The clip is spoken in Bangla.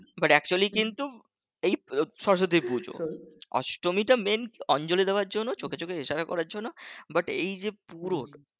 but actually কিন্তু এই সরস্বতী পুজো অষ্টমীটা main অঞ্জলি দেওয়ার জন্য চোখে চোখে ইশারা করার জন্য but এই যে পুরো